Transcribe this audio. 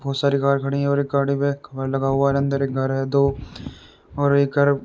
बहुत सारी कार खड़ी है और एक गाड़ी पे कवर लगा हुआ है। अंदर एक घर है दो और एक घर --